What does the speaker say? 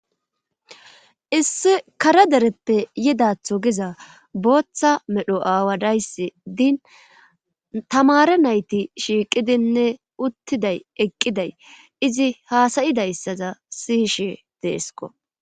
Issi kare dereppe yidatho giza booththa medho aawa dayssi diin tamare nayti shiiqidinne uttiday eqqiday izi haasa7idayssaza siyishe deesko.